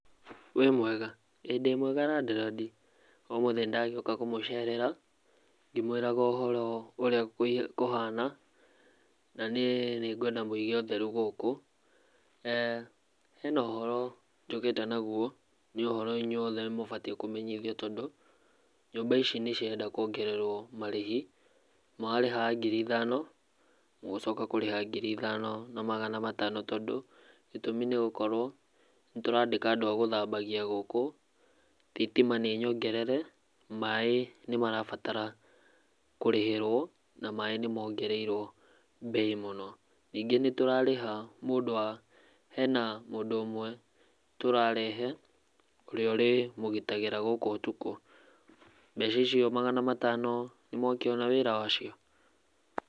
Wĩ mwega? Ĩĩ ndĩ mwega landlord. Ũmũthĩ nĩndagĩũka kũmũcerera ngĩmwĩraga ũhoro ũrĩa kũhana. Naniĩ nĩngwenda mũige ũtheru gũkũ. Hena ũhoro njũkĩte naguo, ni ũhoro inyuothe mũbatiĩ kũmenyithio tondũ nyũmba ici nĩcirenda kuongererwo marĩhi, mũrarĩhaga ngĩri ithano mũgũcoka kũrĩha ngiri ithano na magana matano tondũ gĩtũmi nĩgũkorwo nĩtũrandĩka andũ agũthambagia gũkũ, thitima nĩnyongerere, maaĩ nĩmarabatara kũrĩhĩrwo na maaĩ nĩmongereirwo mbei mũno, ningĩ nĩtũrarĩha mũndũ wa hena mũndũ ũmwe tũrarehe ũrĩa ũrĩmũgitagĩra gũkũ ũtukũ, mbeca icio magana matano nĩ mwakĩona wĩra wacio?